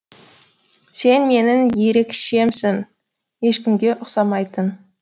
сен менің ерекшемсің ешкімге ұқсамайтын